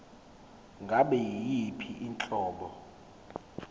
ngabe yiyiphi inhlobo